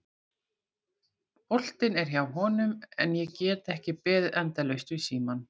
Boltinn er hjá honum en ég get ekki beðið endalaust við símann.